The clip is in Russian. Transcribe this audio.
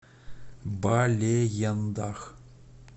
балеендах